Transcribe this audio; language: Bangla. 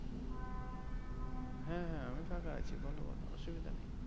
হ্যাঁ হ্যাঁ আমি ফাঁকা আছি বোলো বোলো অসুবিধা নেই।